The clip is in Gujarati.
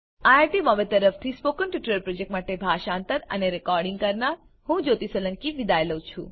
iit બોમ્બે તરફથી સ્પોકન ટ્યુટોરીયલ પ્રોજેક્ટ માટે ભાષાંતર કરનાર હું જ્યોતી સોલંકી વિદાય લઉં છું